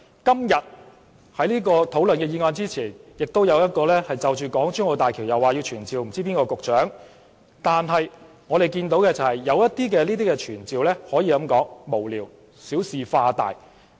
今天討論這項議案前，亦有一項就港珠澳大橋傳召某位局長，這些傳召有很多可以說是無聊、小事化大。